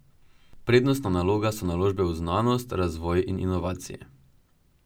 Prednostna naloga so naložbe v znanost, razvoj in inovacije.